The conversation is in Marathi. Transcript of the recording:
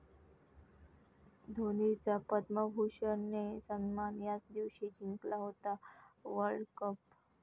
धोनीचा 'पद्मभूषण'ने सन्मान, याच दिवशी जिंकला होता वर्ल्डकप!